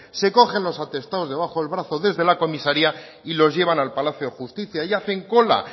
se cogen los atestados debajo del brazo desde la comisaria y los llevan al palacio de justicia y hacen cola